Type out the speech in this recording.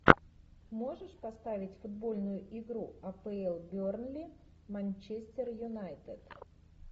можешь поставить футбольную игру апл бернли манчестер юнайтед